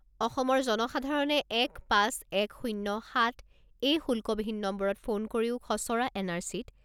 অসমৰ জনসাধাৰণে এক পাঁচ এক শূণ্য সাত এই শুল্কবিহীন নম্বৰত ফোন কৰিও খছৰা এন আৰ চিত